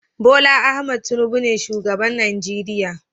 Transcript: Bola Ahmed Tinubu ne shugaban Najeriya